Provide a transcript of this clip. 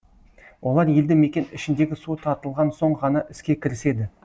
олар елді мекен ішіндегі су тартылған соң ғана іске кіріседі